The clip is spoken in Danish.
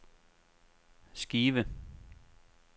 skive